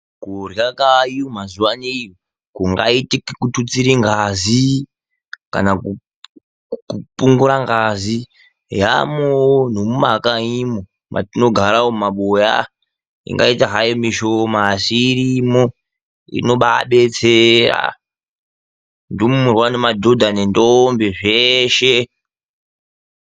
Kurya kayo mazuva aneyi ku ngaitike ku tutsire ngazi kana ku pungura ngazi yamowo ne mu makanyi mwo matino gara umu mu mabuya ingaita hayo mishoma asi irimo inobai betsera ndumurwa ne madhodha ne ndombi zveshe.